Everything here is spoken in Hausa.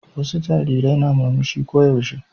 Wasu jarirai na murmushi ko yaushe.